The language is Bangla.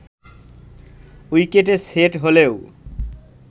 উইকেটে সেট হলেও